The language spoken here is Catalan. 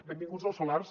benvinguts els solars